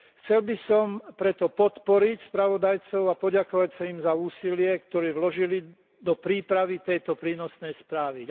Chcel by som preto podporiť spravodajcov a poďakovať sa im za úsilie, ktoré vložili do prípravy tejto prínosnej správy.